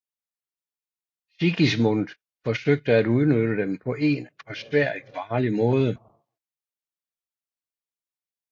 Sigismund forsøgte at udnytte dem på en for Sverige farlig måde